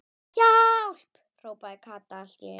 HJÁLP.! hrópaði Kata allt í einu.